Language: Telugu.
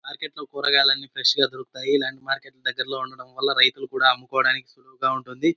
మార్కెట్ లో కూరగాయన్ని ఫ్రెష్ గా దొరుకుతాయి. ఇలాంటి మార్కెట్ దగ్గర్లో ఉండటం వాళ్ళ రైతులు కూడా అమ్ముకోడానికి సులువుగా ఉంటుంది.